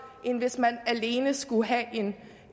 end hvis man alene skulle have